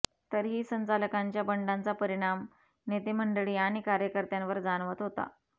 तरीही संचालकांच्या बंडाचा परिणाम नेते मंडळी आणि कार्यकर्त्यांवर जाणवत होता